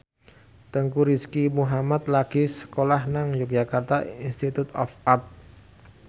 Teuku Rizky Muhammad lagi sekolah nang Yogyakarta Institute of Art